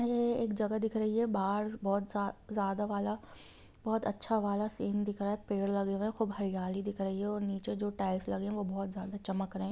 यहाँ एक जगह दिख रही है बाहर बहुत ज्यादा वाला बहुत अच्छा वाला सीन दिख रहा है पेड़ लगे हुए है खूब हरियाली दिक रहे है और नीचे जो टाइल्स लगे है वो बहुत ज्यादा चमक रहे हैं।